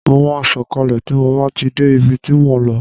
Ma sọ kalẹ tí mo bá ti dé ibi tí mo ń lọ